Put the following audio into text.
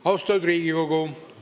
Austatud Riigikogu!